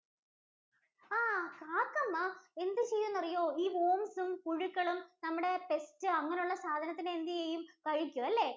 ആഹ് കാക്കമ്മ എന്ത് ചെയ്യും എന്ന് അറിയോ? ഈ worms ഉം, ഈ പുഴുക്കളും, നമ്മുടെ pest അങ്ങനെ ഉള്ള സാധനത്തിനെ എന്ത് ചെയ്യും? കഴിക്കും അല്ലേ.